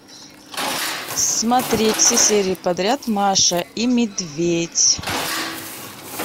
смотреть все серии подряд маша и медведь